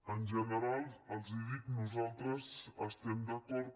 en general els ho dic nosaltres hi estem d’acord